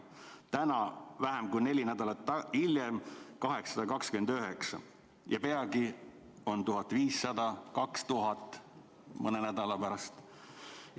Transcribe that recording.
Täna, vähem kui neli nädalat hiljem, lisandus 829 ja peagi, mõne nädala pärast, on neid 1500–2000.